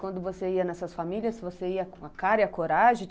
Quando você ia nessas famílias, você ia com a cara e a coragem?